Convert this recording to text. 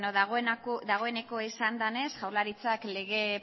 dagoeneko esan danez jaurlaritzak lege